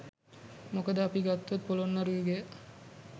මොකද අපි ගත්තොත් පොළොන්නරු යුගය